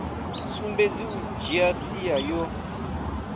sumbedzi u dzhia sia yo